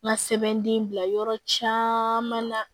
N ka sɛbɛnden bila yɔrɔ caman na